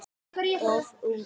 Of ungur.